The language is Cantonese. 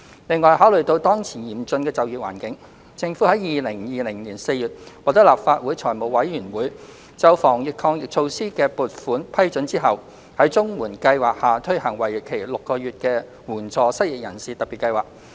另外，考慮到當前嚴峻的就業環境，政府在2020年4月獲得立法會財務委員會就防疫抗疫措施的撥款批准後，在綜援計劃下推行為期6個月的援助失業人士特別計劃。